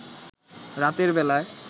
রাতের বেলায়